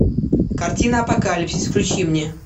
картина апокалипсис включи мне